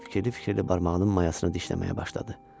Fikirli-fikirli barmağının mayasını dişləməyə başladı.